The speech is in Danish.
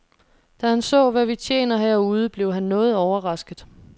Da han så, hvad vi tjener herude, blev han noget overrasket.